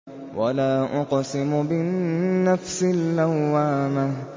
وَلَا أُقْسِمُ بِالنَّفْسِ اللَّوَّامَةِ